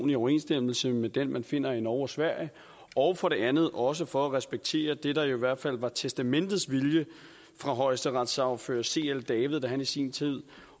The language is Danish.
i overensstemmelse med den man finder i norge og sverige og for det andet også for at respektere det der jo i hvert fald var testamentets vilje fra højesteretssagfører c l david da han i sin tid